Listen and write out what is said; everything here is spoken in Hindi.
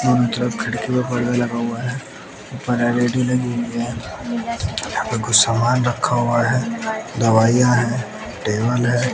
दोनों तरफ खिड़की और पर्दा लगा हुआ है ऊपर एल_ई_डी लगी हुई है यहां पे कुछ सामान रखा हुआ है दवाइयां हैं टेबल है।